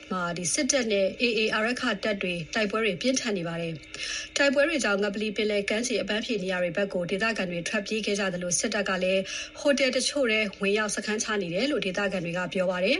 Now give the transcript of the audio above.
မှာ စစ်တပ်နဲ့ AA အာရက္ခတပ်တွေ တိုက်ပွဲတွေ ပြင်းထန်နေပါတယ်။ တိုက်ပွဲတွေကြောင့် ငပလီပင်လယ်ကမ်းခြေ အပန်းဖြေနေရာတွေဘက်ကို ဒေသခံတွေ ထွက်ပြေးခဲ့ကြသလို စစ်တပ်ကလည်း ဟိုတယ်တချို့ထဲ ဝင်ရောက် စခန်းချနေတယ်လို့ ဒေသခံတွေက ပြောပါတယ်